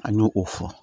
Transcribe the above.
An y'o o fɔ